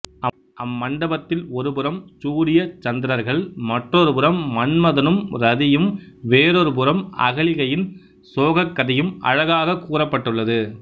அம்மண்டபத்தில் ஒருபுறம் சூரிய சந்திரர்கள் மற்றொருபுறம் மன்மதனும் இரதியும் வேறொரு புறம் அகலிகையின் சோகக்கதையும் அழகாகக் கூறுப்பட்டுள்ளது